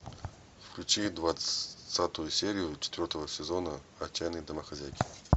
включи двадцатую серию четвертого сезона отчаянные домохозяйки